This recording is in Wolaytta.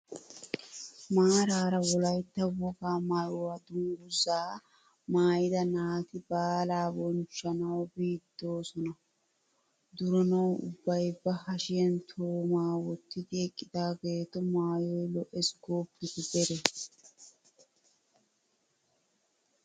Maarara wolaytta wogaa maayuwaa dungguzaa maayida naati baalaa bonchchanwu biidosan duranawu ubbay ba hashshiyaan toomaa wottidi eqqidaagetu maayoy lo"es gooppite deree!